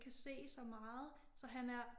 Kan se så meget så han er